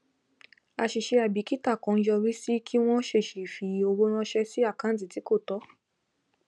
àṣìṣe àìbìkítà kan yọrí sí kí wọn ṣèṣì fi ọwọ ránṣẹ sí àkáǹtì tí kò tọ